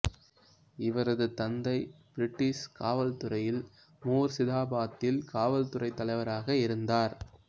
இவரது தந்தை பிரிட்டிசு காவல் துறையில் முர்சிதாபாத்தில் காவல்துறைத் தலைவராக இருந்தார்